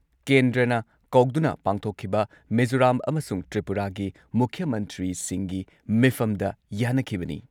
ꯀꯦꯟꯗ꯭ꯔꯅ ꯀꯧꯗꯨꯅ ꯄꯥꯡꯊꯣꯛꯈꯤꯕ ꯃꯤꯖꯣꯔꯥꯝ ꯑꯃꯁꯨꯡ ꯇ꯭ꯔꯤꯄꯨꯔꯥꯒꯤ ꯃꯨꯈ꯭ꯌ ꯃꯟꯇ꯭ꯔꯤꯁꯤꯡꯒꯤ ꯃꯤꯐꯝꯗ ꯌꯥꯟꯅꯈꯤꯕꯅꯤ ꯫